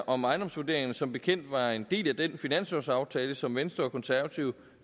om ejendomsvurderingerne som bekendt var en del af den finanslovsaftale som venstre og konservative